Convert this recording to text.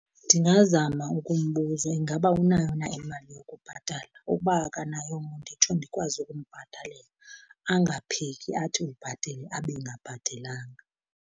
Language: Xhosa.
Ndingazama ukumbuza ingaba unayo na imali yokubhatala. Ukuba akanayongo nditsho ndikwazi ukumbhatalela, angaphiki athi ubhatele abe engabhatelanga.